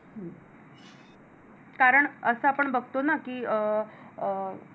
कारण असं आपण बघतो ना कि अह अह